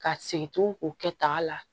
Ka segin tugun o kɛta la